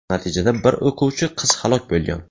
Natijada bir o‘quvchi qiz halok bo‘lgan.